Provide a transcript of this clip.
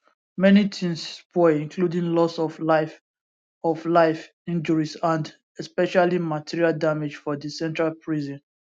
many tins spoil including loss of life of life injuries and especially material damage for di central prison